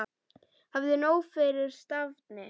Hafðu nóg fyrir stafni.